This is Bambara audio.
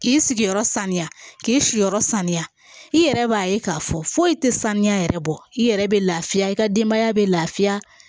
K'i sigiyɔrɔ saniya k'i siyɔrɔ saniya i yɛrɛ b'a ye k'a fɔ foyi tɛ sanuya yɛrɛ bɔ i yɛrɛ bɛ lafiya i ka denbaya bɛ lafiya